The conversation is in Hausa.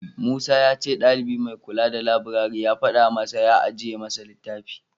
Musa ya ce ɗalibi mai kula da labirari ya faɗa masa ya ajiye masa littafi.